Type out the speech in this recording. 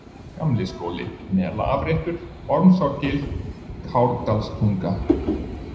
Gamliskóli, Melaafréttur, Ormsárgil, Kárdalstunga